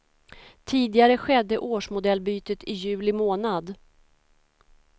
Tidigare skedde årsmodellbytet i juli månad.